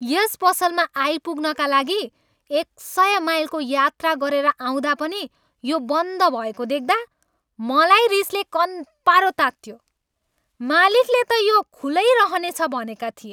यस पसलमा आइपुग्नका लागि एक सय माइलको यात्रा गरेर आउँदा पनि यो बन्द भएको देख्दा मलाई रिसले कन्पारो तात्तियो। मालिकले त यो खुलै रहनेछ भनेका थिए।